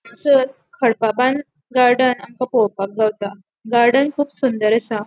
हांगासर खडपाबान्द गार्डन आमका पोलोवपाक गावता गार्डन कुब सुंदर आसा.